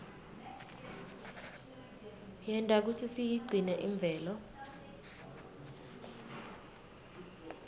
yenta kutsi siyigcine imvelo